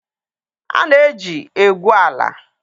A na-eji egwu ala